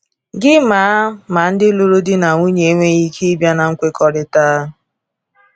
Gịnị ma ma ndị lụrụ di na nwunye enweghị ike ịbịa na nkwekọrịta?